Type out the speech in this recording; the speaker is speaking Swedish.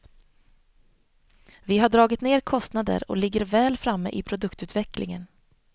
Vi har dragit ner kostnader och ligger väl framme i produktutvecklingen.